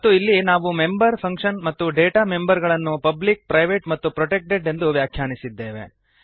ಮತ್ತು ಇಲ್ಲಿ ನಾವು ಮೆಂಬರ್ ಫಂಕ್ಶನ್ ಮತ್ತು ಡೇಟಾ ಮೆಂಬರ್ ಗಳನ್ನು ಪಬ್ಲಿಕ್ ಪ್ರೈವೇಟ್ ಮತ್ತು ಪ್ರೊಟೆಕ್ಟೆಡ್ ಎಂದು ವ್ಯಾಖ್ಯಾನಿಸಿದ್ದೇವೆ